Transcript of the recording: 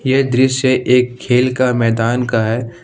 ये दृश्य एक खेल का मैदान का है।